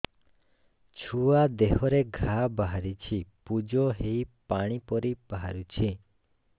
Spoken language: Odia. ଛୁଆ ଦେହରେ ଘା ବାହାରିଛି ପୁଜ ହେଇ ପାଣି ପରି ବାହାରୁଚି